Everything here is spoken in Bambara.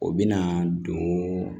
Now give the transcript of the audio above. O bɛna don